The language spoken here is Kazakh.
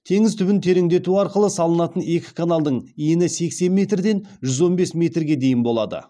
теңіз түбін тереңдету арқылы салынатын екі каналдың ені сексен метрден жүз он бес метрге дейін болады